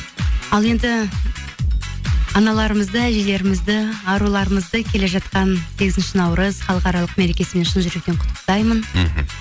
ал енді аналарымызды әжелерімізді аруларымызды келе жатқан сегізінші наурыз халықаралық мерекесімен шын жүректен құттықтаймын мхм